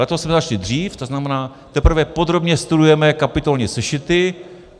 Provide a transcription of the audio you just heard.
Letos jsme začali dřív, to znamená, teprve podrobně studujeme kapitolní sešity.